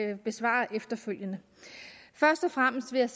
vil besvare efterfølgende først og fremmest vil jeg